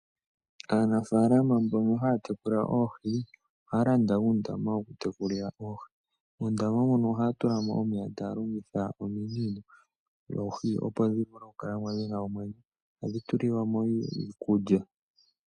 Aanafaalama mbono haya tekula oohi, ohaya landa uundama woku tekulila oohi. Muundama mono ohaya tula mo omeya taya longitha ominino, oohi opo dhi vule okukala mo dhina omwenyo. Ohadhi tulilwa mo woo iikulya.